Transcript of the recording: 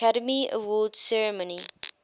academy awards ceremony